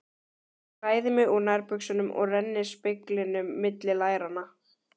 Ég klæði mig úr nærbuxunum og renni speglinum milli læranna.